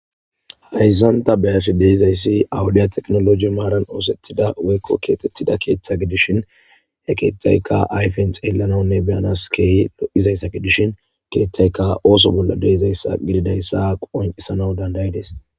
hayssan ta be7ash deizayssi awudiya tekinoloji maaran oosettida woykko keetettida keeththa gidishin he keeththaykka ayfen xeelananne beyanas keehi lo7izayssa gidishin keeththayka ooso bolla deizayssa gididayssa qoncisana dandayides